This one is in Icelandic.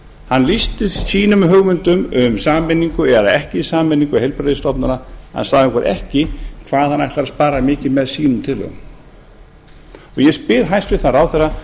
hann lýsti sínum hugmyndum um sameiningu eða ekki sameiningu heilbrigðisstofnana hann sagði okkur ekki hvað hann ætlar að spara mikið með sínu tillögum ég spyr hæstvirtur ráðherra